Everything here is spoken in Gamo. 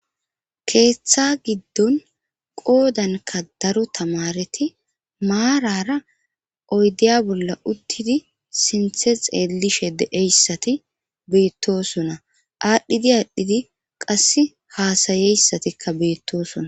Keeththa giddon qoodanka daro tamareti maarara oydiya bolla uttidi sinthe xeelishe deeyssati beittosuna aadhdhidi aadhdhidi qass haasayeyssatikka beettosuna.